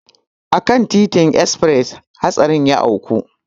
A kan titin esfres hatsarin ya auku.